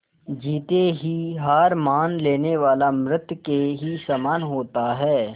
जीते जी हार मान लेने वाला मृत के ही समान होता है